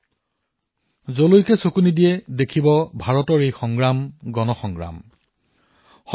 আপুনি যলৈকে চাই দেখা পাব যে ভাৰতৰ এই যুঁজ হল জনসাধাৰণ পৰিচালিত